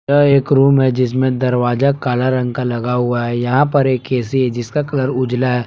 यह एक रूम है। जिसमें दरवाजा काला रंग का लगा हुआ है। यहां पर एक ऐ_सी है। जिसका कलर उजला है।